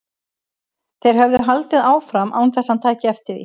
Þeir höfðu haldið áfram án þess að hann tæki eftir því.